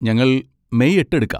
ഞങ്ങൾ മെയ് എട്ട് എടുക്കാം.